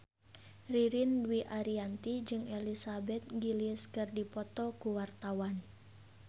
Ririn Dwi Ariyanti jeung Elizabeth Gillies keur dipoto ku wartawan